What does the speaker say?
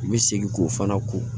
U bɛ segin k'o fana ko